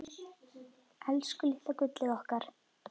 Elsku litla gullið okkar.